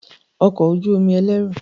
Ọkọ̀ ojú omi ẹlẹ́rù